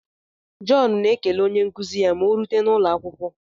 John na-ekele onye nkuzi ya ma orute n'ụlọakwụkwọ.